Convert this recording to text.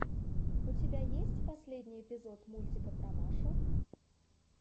у тебя есть последний эпизод мультика про машу